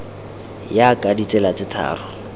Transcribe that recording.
ya ka ditsela tse tharo